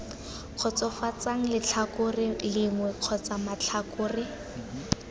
kgotsofatsang letlhakore lengwe kgotsa matlhakore